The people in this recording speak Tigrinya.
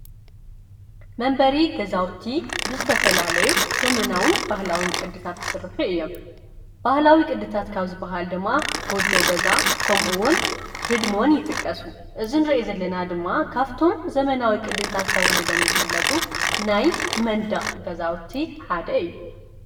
መንበሪ ገዛዉቲ ብዝተፈላለዩ ዘመናዉን ባህላውን ቅድታት ይስርሑ እዮም። ባህላዊ ቅድታት ካብ ዝበሃሉ ድማ ጎጆ ገዛ ከምኡ እውን ህድሞን ይጥቀሱ። እዚ ንሪኦ ዘለና ድማ ካብቶም ዘመናዊ ቅድታት ተባሂሎም ዝፍለጡ ናይ መንደቅ ገዛውቲ ሓደ እዩ ።